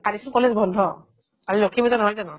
কালিচোন college বন্ধ আৰু লক্ষী পূজা নহয় জানো ?